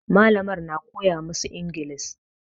Malamar na koya masu inglis